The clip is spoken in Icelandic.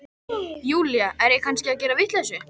Júlía, er ég kannski að gera vitleysu?